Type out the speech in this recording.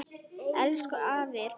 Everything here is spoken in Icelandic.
Elsku afi er farinn.